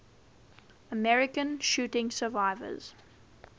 american shooting survivors